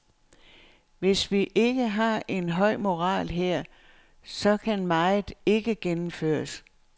Hvis vi ikke har en høj moral her, så kan meget ikke gennemføres.